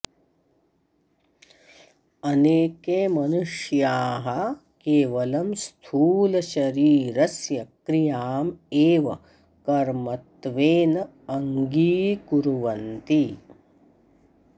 अनेके मनुष्याः केवलं स्थूलशरीरस्य क्रियाम् एव कर्मत्वेन अङ्गीकुर्वन्ति